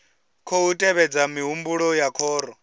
khou tevhedza mihumbulo ya khoro